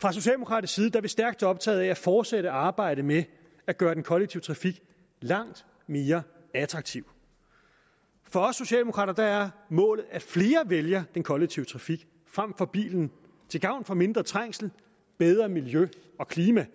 fra socialdemokratisk side er vi stærkt optaget af at fortsætte arbejdet med at gøre den kollektive trafik langt mere attraktiv for os socialdemokrater er målet at flere vælger den kollektive trafik frem for bilen til gavn for mindre trængsel bedre miljø og klima